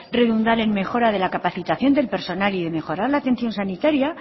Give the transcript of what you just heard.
redundar en mejora de la capacitación del personal y en mejorar la atención sanitaria